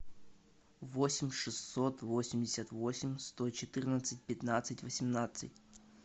восемь шестьсот восемьдесят восемь сто четырнадцать пятнадцать восемнадцать